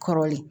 Kɔrɔlen